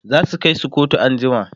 zasu Kai su kotu an jima